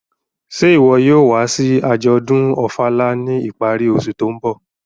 Ṣe iwọ yóò wa si ajọdun Ofala ni ipari ọse to nbọ?